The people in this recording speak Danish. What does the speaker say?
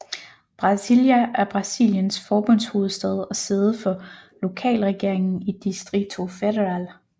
Brasília er Brasiliens forbundshovedstad og sæde for lokalregeringen i Distrito Federal